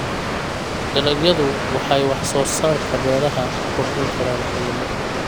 Dalagyadu waxay wax soo saarka beeraha ku kordhin karaan qiimo.